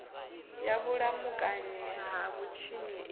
ya vhulamukanyi ha vhutshinyi i